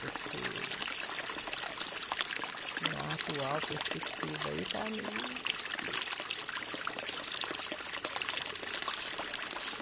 Porque na atual perspectiva aí está meio difícil.